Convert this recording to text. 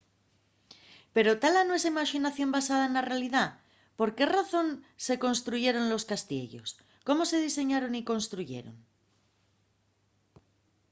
pero ¿ta la nuestra imaxinación basada na realidá? ¿por qué razón se construyeron los castiellos? ¿cómo se diseñaron y construyeron?